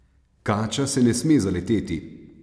Kača se ne sme zaleteti!